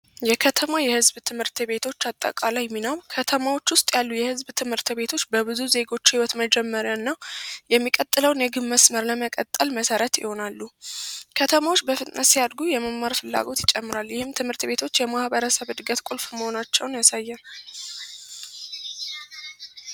የከተማ የህዝብ ትት ቤቶች አጠቃላይ ሚና ከተሞች ዉስጥ ያለዉ የህዝብ ትት ቤቶይ በብዙ የህይወት መመሪያ እና የሚቀጥለዉን ለመቀጠል ይሆናሉ ከተሞች በፍጥነት ሲያድጉ የመማር ፍላጎት ይጨምራል ።ይህም ትምህርት ቤቶች የማህበረሰብ ቁልፍ እድገት እንደሆኑ ያሳያል